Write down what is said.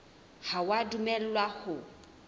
ha o a dumellwa ho